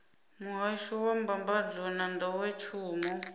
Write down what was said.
muhasho wa mbambadzo na nḓowetshumo